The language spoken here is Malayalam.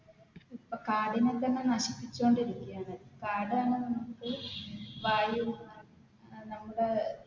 ഇപ്പൊ കാടിനെ തന്നെ നശിപ്പിച്ചോണ്ട് ഇരിക്കുകയാണ് കാട് നമ്മുടെ